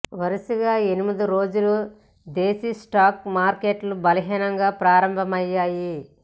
వరుసగా ఎనిమిదో రోజు దేశీ స్టాక్ మార్కెట్లు బలహీనంగా ప్రారంభమయ్యాయి